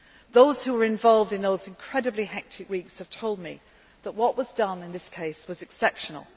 we have. Those who were involved in those incredibly hectic weeks have told me that what was done in this case was exceptional.